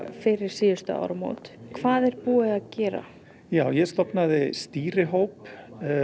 fyrir síðustu áramót hvað er búið að gera ég stofnaði stýrihóp